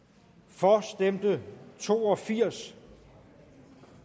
for stemte to og firs